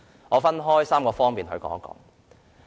我會就3方面發言。